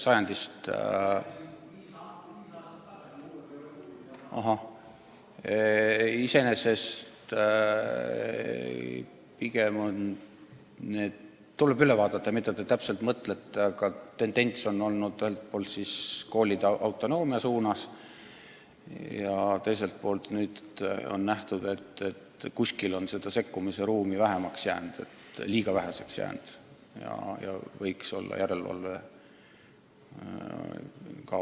Iseenesest tuleb üle vaadata, kuidas see täpselt oli, aga tendents on olnud ühelt poolt koolide suurema autonoomia suunas, ent teiselt poolt on nüüd leitud, et sekkumise ruumi on liiga väheseks jäänud ja võiks siiski olla järelevalve ka olemas.